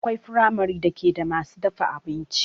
Akwai firamare da ke da masu dafa abinci